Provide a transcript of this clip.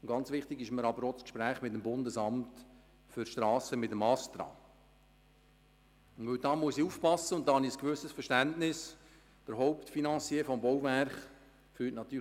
Ganz wichtig ist mir aber auch das Gespräch mit dem Astra, dem Hauptfinancier des Bauwerks, der langsam, aber sicher die Geduld zu verlieren droht.